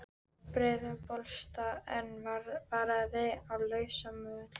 Breiðabólsstað, en varaðu þig á lausamöl.